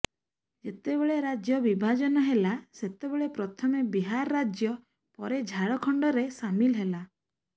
ଯେତେବେଳେ ରାଜ୍ୟ ବିଭାଜନ ହେଲା ସେତେବେଳେ ପ୍ରଥମେ ବିହାର ରାଜ୍ୟ ପରେ ଝାଡଖଣ୍ଡରେ ସାମିଲ ହେଲା